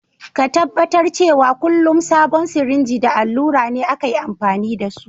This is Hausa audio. Ka tabatar cewa kullum sabon sirinji da allura ne aka amfani da su.